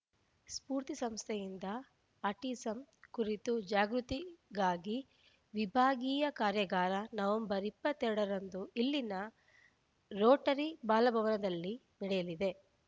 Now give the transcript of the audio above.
ಸ್ಪೂರ್ತಿ ಸಂಸ್ಥೆಯಿಂದ ಆಟಿಸಮ್‌ ಕುರಿತು ಜಾಗೃತಿಗಾಗಿ ವಿಭಾಗೀಯ ಕಾರ್ಯಾಗಾರ ನವೆಂಬರ್ ಇಪ್ಪತ್ತ್ ಎರಡ ರಂದು ಇಲ್ಲಿನ ರೋಟರಿ ಬಾಲಭವನದಲ್ಲಿ ನಡೆಯಲಿದೆ